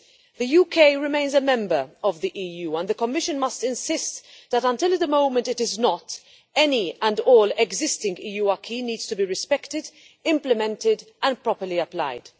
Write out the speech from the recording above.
The UK remains a Member State of the EU and the Commission must insist that, until the moment it is not, any and all existing EU acquis needs to be respected, implemented and properly applied.